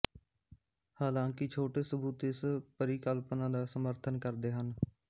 ਹਾਲਾਂਕਿ ਛੋਟੇ ਸਬੂਤ ਇਸ ਪਰਿਕਲਪਨਾ ਦਾ ਸਮਰਥਨ ਕਰਦੇ ਹਨ